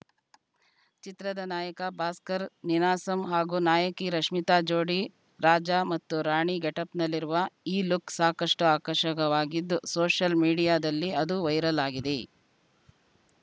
ಚಿತ್ರದ ನಾಯಕ ಭಾಸ್ಕರ್‌ ನೀನಾಸಂ ಹಾಗೂ ನಾಯಕಿ ರಶ್ಮಿತಾ ಜೋಡಿ ರಾಜ ಮತ್ತು ರಾಣಿ ಗೆಟಪ್‌ನಲ್ಲಿರುವ ಈ ಲುಕ್‌ ಸಾಕಷ್ಟುಆಕರ್ಷಕವಾಗಿದ್ದು ಸೋಷಲ್‌ ಮೀಡಿಯಾದಲ್ಲಿ ಅದು ವೈರಲ್‌ ಆಗಿದೆ